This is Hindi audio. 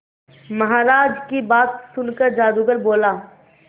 महाराज की बात सुनकर जादूगर बोला